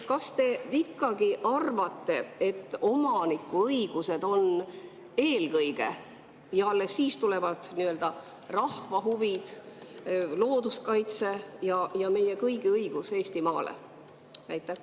Kas te ikkagi arvate, et omaniku õigused on eelkõige, ja alles siis tulevad nii-öelda rahva huvid, looduskaitse ja meie kõigi õigus Eestimaale?